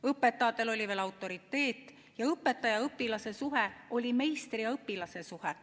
Õpetajatel oli veel autoriteet ning õpetaja-õpilase suhe oli meistri ja õpilase suhe.